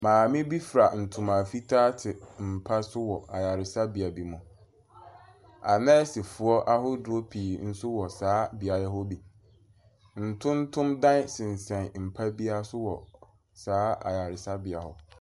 Maame bi fura ntoma fitaa te mpa so wɔ ayaresabea bi mu. Anɛɛsefoɔ ahodoɔ pii nso wɔ saa beaeɛ hɔ bi. Ntontom dan sensɛn mpa biara so wɔ saa ayaresabea hɔ.